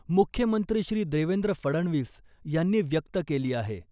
मुख्यमंत्री श्री देवेंद्र फडणवीस यांनी व्यक्त केली आहे.